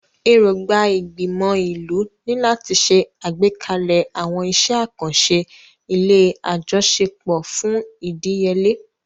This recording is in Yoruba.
Èrògbà ìgbìmọ̀ ìlú ni láti ṣe àgbékalẹ̀ àwọn iṣẹ́ àkànṣe ilé àjọṣepọ̀ fún ìdíyelé.